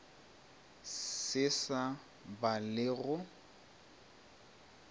se sa ba le go